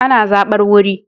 Ana zabar wuri